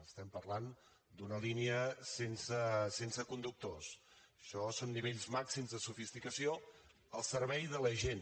estem parlant d’una línia sense conductors això són nivells màxims de sofisticació al servei de la gent